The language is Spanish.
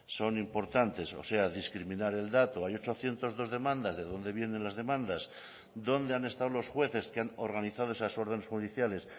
son importantes o sea discriminar el dato hay ochocientos dos demandas de dónde vienen las demandas dónde han estado los jueces que han organizado esas órdenes judiciales